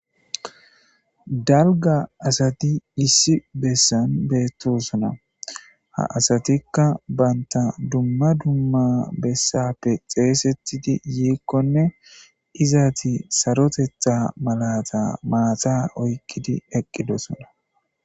Dalgga asathi issi bessan beethoosona; ha asathikka banththa dumma dumma bessaape xeeseththidi yiikkonne izathi sarotheththaa malaathaa maathaa oykkidi eqqidosona.